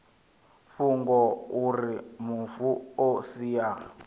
fhungo auri mufu o sia